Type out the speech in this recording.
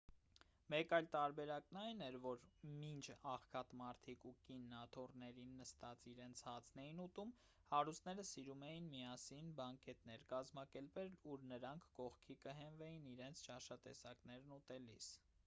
մեկ այլ տարբերակն այն էր որ մինչ աղքատ մարդիկ ու կինն աթոռներին նստած իրենց հացն էին ուտում հարուստները սիրում էին միասին բանկետներ կազմակերպել ուր նրանք կողքի կհենվեին իրենց ճաշատեսակներն ուտելիս